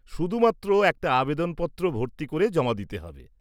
-শুধুমাত্র একটা আবেদনপত্র ভর্তি করে জমা দিতে হবে।